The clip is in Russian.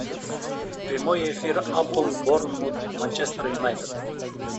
прямой эфир апл борнмут манчестер юнайтед